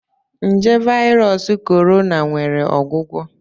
Nje Virus Corona nwere ọgwụgwọ?